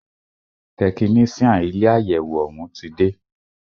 Tẹkinician ilé àyẹwò òún ti dé.